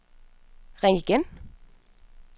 ring igen